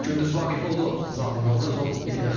Gündüz Vaqifoğlu, Zamin Novruzov, ITV Xəbər.